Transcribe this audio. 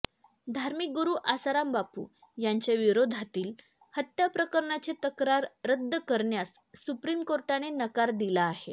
धार्मिक गुरू आसाराम बापू यांच्याविरोधातली हत्या प्रकरणाची तक्रार रद्द करण्यास सुप्रीम कोर्टाने नकार दिला आहे